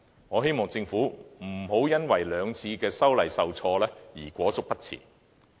我希望政府不要因為兩次修訂受挫便裹足不前。